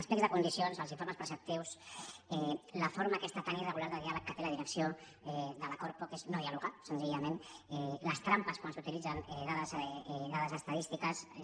els plecs de condicions els informes preceptius la forma aquesta tan irregular de diàleg que té la direcció de la corpo que és no dialogar senzillament les trampes quan s’utilitzen dades estadístiques és